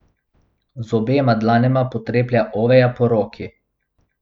Z obema dlanema potreplja Oveja po roki.